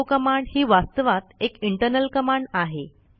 echo command ही वास्तवात एक इंटरनल कमांड आहे